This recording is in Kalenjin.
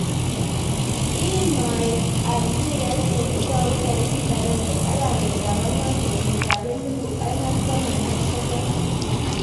iimMaet ab mpiret kele tou tarik akenge arawet ab angwan kenyit ab elipu aeng ak taman ak sokol.